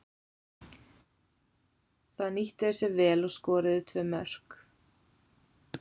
Það nýttu þeir sér vel og skoruðu tvö mörk.